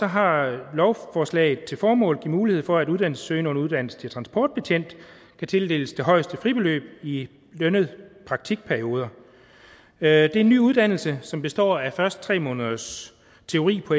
har lovforslaget til formål at man giver mulighed for at uddannelsessøgende under uddannelse til transportbetjent kan tildeles det højeste fribeløb i lønnede praktikperioder det er en ny uddannelse som består af først tre måneders teori på